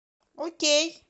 окей